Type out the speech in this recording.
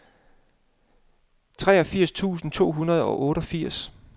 treogfirs tusind to hundrede og otteogfirs